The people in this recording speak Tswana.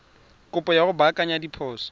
kopo ya go baakanya diphoso